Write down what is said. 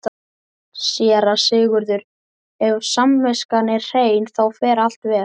SÉRA SIGURÐUR: Ef samviskan er hrein, þá fer allt vel.